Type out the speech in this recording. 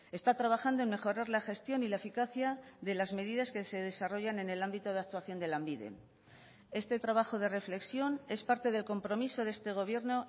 está trabajando en mejorar la gestión y la eficacia de las medidas que se desarrollan en el ámbito de actuación de lanbide este trabajo de reflexión es parte del compromiso de este gobierno